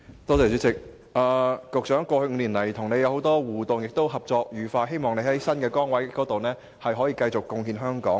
局長，在過去5年來與你有不少互動，而且合作愉快，希望你可以在新的崗位繼續貢獻香港。